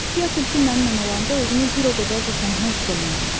Fia tülkü mənimlə olanda özümü bir o qədər də tənha hiss eləmirəm.